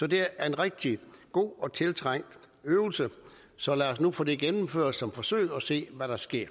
det er en rigtig god og tiltrængt øvelse så lad os nu få det gennemført som forsøg og se hvad der sker